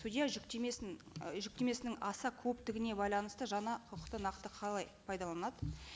судья жүктемесін і жүктемесінің аса көптігіне байланысты жаңа құқықты нақты қалай пайдаланады